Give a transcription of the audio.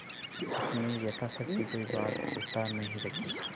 उसने यथाशक्ति कोई बात उठा नहीं रखी